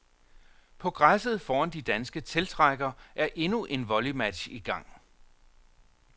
På græsset foran de danske teltrækker er endnu en volleymatch i gang.